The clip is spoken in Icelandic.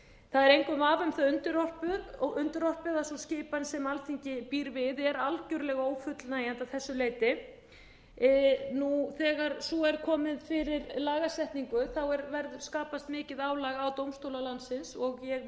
það er engum vafa um það undirorpið að sú skipan sem alþingi býr við er algjörlega ófullnægjandi að þessu leyti þegar svo er komið fyrir lagasetningu skapast mikið álag á dómstóla landsins ég